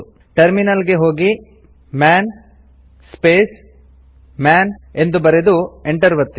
terminal ಗೆ ಹೋಗಿ man space man ಎಂದು ಬರೆದು ಎಂಟರ್ ಒತ್ತಿ